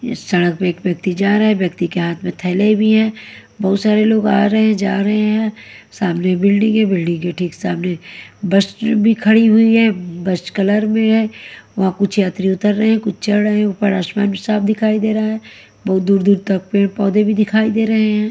इस सड़क पे एक व्यक्ति जा रहा है व्यक्ति के हाथ में थैले भी हैं बहुत सारे लोग आ रहे हैं जा रहे हैं सामने बिल्डिंग है बिल्डिंग के ठीक सामने बस भी खड़ी हुई है बस कलर में है व कुछ यात्री उतर रहे हैं कुछ चढ़ रहे हैं ऊपर आसमान साफ दिखाई दे रहा है बहुत दूर दूर तक पेड़ पौधे भी दिखाई दे रहे हैं।